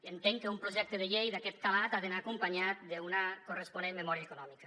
entenc que un projecte de llei d’aquest calat ha d’anar acompanyat d’una corresponent memòria econòmica